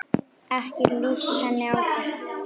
Ekki líst henni á það.